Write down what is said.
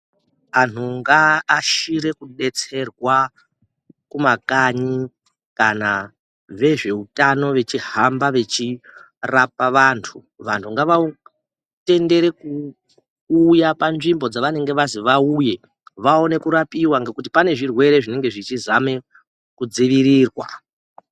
Antu ngavaashire kudetserwa mumakanyi kana vezveutano vachihamba vachirapa vantu. Vantu ngavatendere kuuya panzvimbo dzavanenge vazwi vauye vaone kurapiwa ngekuti panenge pane zvirwere zviri kuzame kudzivirirwa.